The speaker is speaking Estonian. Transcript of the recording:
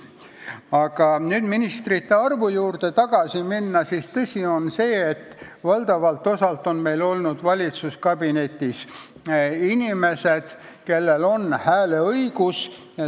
Kui nüüd ministrite arvu juurde tagasi minna, siis tõsi on see, et valitsuskabinetis on inimesed, kellel on hääleõigus.